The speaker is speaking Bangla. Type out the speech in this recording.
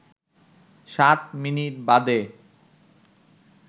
সাত মিনিট বাদে